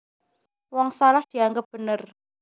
Wong salah dianggep bener